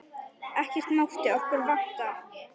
Ekkert mátti okkur vanta.